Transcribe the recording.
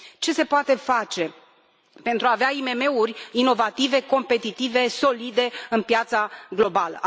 Ce se poate face pentru a avea IMM uri inovative, competitive, solide pe piața globală?